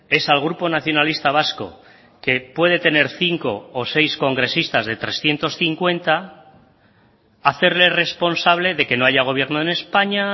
es al grupo nacionalista vasco que puede tener cinco o seis congresistas de trescientos cincuenta hacerle responsable de que no haya gobierno en españa